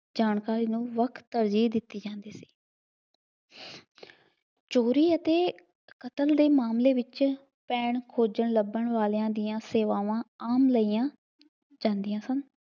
ਜਾਣਕਾਰੀ ਨੂੰ ਬਹੁਤ ਤਰਜੀਹ ਦਿੱਤੀ ਜਾਂਦੀ ਸੀ। ਚੋਰੀ ਅਤੇ ਕਤਲ ਦੇ ਮਾਮਲੇ ਵਿੱਚ ਪੈਣ ਖੋਜਣ ਲੱਭਣ ਵਾਲਿਆਂ ਦੀਆਂ ਸੇਵਾਵਾਂ ਆਮ ਲਈਆਂ ਜਾਦੀਆਂ ਸਨ।